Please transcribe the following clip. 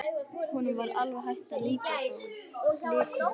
Honum var alveg hætt að lítast á blikuna.